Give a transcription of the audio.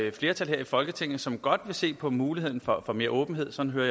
et flertal her i folketinget som godt vil se på muligheden for at få mere åbenhed sådan hører